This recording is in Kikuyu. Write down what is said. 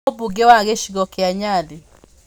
Nũũ Mũmbunge wa gĩcigo kĩa Nyali?